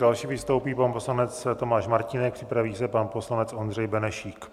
Další vystoupí pan poslanec Tomáš Martínek, připraví se pan poslanec Ondřej Benešík.